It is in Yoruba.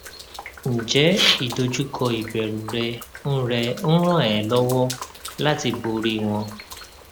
ǹjẹ ìdojúkọ ìbẹrù rẹ ń rẹ ń ràn ẹ lọwọ láti borí wọn